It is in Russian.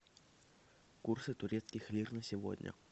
курсы турецких лир на сегодня